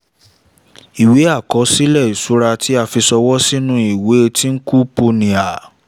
ìwé àkọsílẹ̀ ìṣura tí a fi ṣọwọ́ sínú ìwé twinkle punia